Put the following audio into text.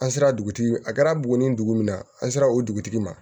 An sera dugutigi a kɛra buguni dugu min na an sera o dugutigi ma